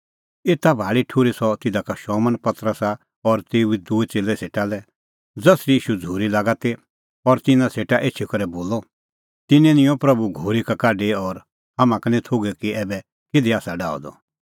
एता भाल़ी ठुर्ही सह तिधा का शमौन पतरसा और तेऊ दुजै च़ेल्लै सेटा लै ज़सरी ईशू झ़ूरी लागा ती और तिन्नां सेटा एछी करै बोलअ तिन्नैं निंयं प्रभू घोरी का काढी और हाम्हां का निं थोघै कि ऐबै किधी आसा सह डाह द